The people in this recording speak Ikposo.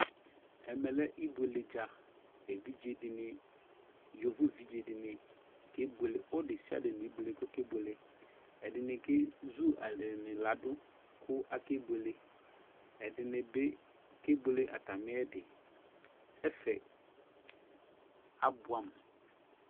ɛmɛ lɛ ibuele dza, evidze de ne , yovo evidze de ne ke buele Ɔdesiade ne ibuele kɔke buele Ɛde ne kezu alɛ ne lado ko ake bueleƐde ne be ke buele atameɛ diƐfɛ abuɛ amu